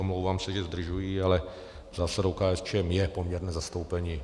Omlouvám se, že zdržuji, ale zásadou KSČM je poměrné zastoupení.